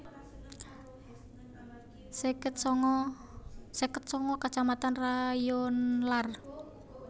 seket sanga kecamatan rayonlar